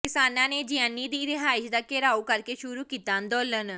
ਕਿਸਾਨਾਂ ਨੇ ਜਿਆਣੀ ਦੀ ਰਿਹਾਇਸ਼ ਦਾ ਘੇਰਾਓ ਕਰਕੇ ਸ਼ੁਰੂ ਕੀਤਾ ਅੰਦੋਲਨ